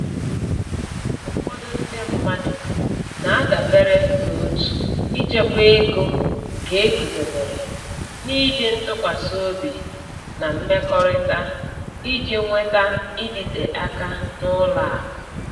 Ụfọdụ ndị mmadụ na-adabere n’òtù ịchekwa ego nke e guzobere n’iji ntụkwasị obi na mmekọrịta, iji nweta ịdịte aka n’ụlọ akụ.